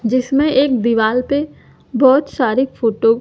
जिसमें एक दिवाल पे बहोत सारी फोटो --